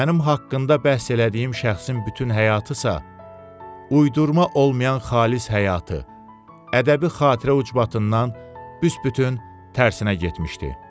Mənim haqqında bəhs elədiyim şəxsin bütün həyatısa uydurma olmayan xalis həyatı ədəbi xatirə ucbatından biçbütün tərsinə getmişdi.